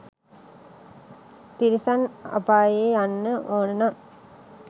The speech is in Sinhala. තිරිසන් අපායේ යන්න ඕන නම්